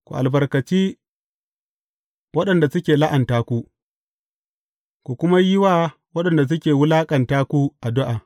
Ku albarkaci waɗanda suke la’anta ku, ku kuma yi wa waɗanda suke wulaƙanta ku addu’a.